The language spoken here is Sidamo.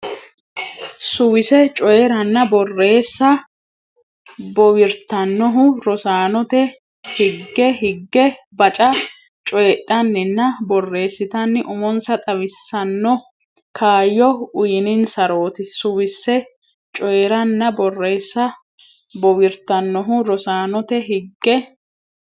Suwise coyi ranna borreessa bowirtannohu rosaanote higge higge baca coyidhanninna borreessitanni umonsa xawissanno kaayyo uyninsarooti Suwise coyi ranna borreessa bowirtannohu rosaanote higge.